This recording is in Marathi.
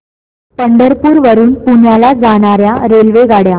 पंढरपूर वरून पुण्याला जाणार्या रेल्वेगाड्या